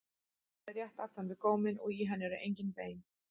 Hún er rétt aftan við góminn og í henni eru engin bein.